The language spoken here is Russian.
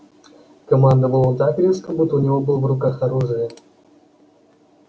командовал он так резко будто у него было в руках оружие